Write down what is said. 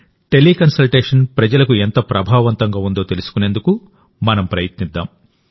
teleconsultation ప్రజలకు ఎంత ప్రభావవంతంగా ఉందో తెలుసుకునేందుకు మనంప్రయత్నిద్దాం